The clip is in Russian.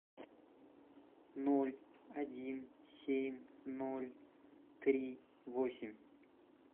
ноль один семь ноль три восемь